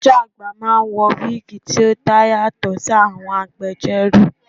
Adájọ́ àgbà máa ń wọ wíìgì tí ó dá yàtọ̀ sí àwọn agbẹjórò.